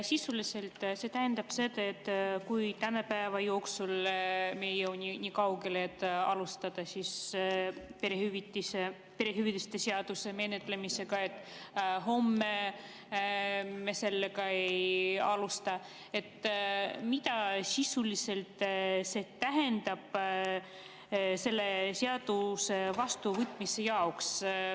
Kui täna me ei jõua nii kaugele, et alustada perehüvitiste seaduse menetlemisega, ja ka homme me sellega ei alusta, siis mida tähendab see sisuliselt selle seaduse vastuvõtmise jaoks?